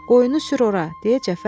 Qoyunu sür ora,